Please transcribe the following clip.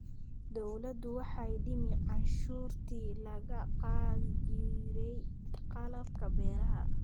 Dawladdu waxay dhimay cashuurtii laga qaadi jiray qalabka beeraha.